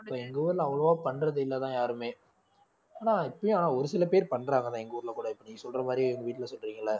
எங்க ஊர்ல அவ்வளவா பண்றதில்லைதான் யாருமே ஆனா இப்பயும் ஆனா ஒரு சில பேர் பண்றாங்கதான் எங்க ஊர்ல கூட இப்ப நீங்க சொல்ற மாதிரி எங்க வீட்டுல சொல்றீங்கல்ல